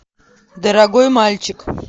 дорогой мальчик